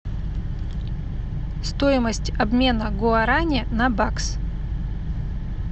стоимость обмена гуарани на бакс